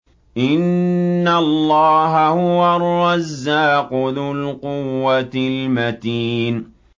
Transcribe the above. إِنَّ اللَّهَ هُوَ الرَّزَّاقُ ذُو الْقُوَّةِ الْمَتِينُ